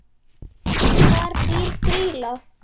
Hvar býr Grýla?